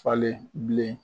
Falen bilen